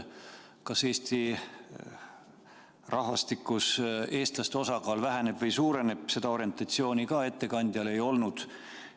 Kas Eesti rahvastikus eestlaste osakaal väheneb või suureneb, seda orientatsiooni ka ettekandjal ei olnud.